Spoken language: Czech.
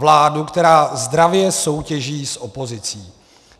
Vládu, která zdravě soutěží s opozicí.